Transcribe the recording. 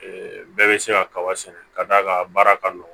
bɛɛ bɛ se ka kaba sɛnɛ ka d'a ka baara ka nɔgɔn